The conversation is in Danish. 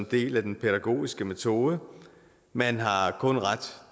del af den pædagogiske metode og man har har kun ret